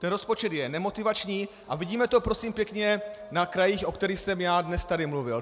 Ten rozpočet je nemotivační a vidíme to prosím pěkně na krajích, o kterých jsem já tady dnes mluvil.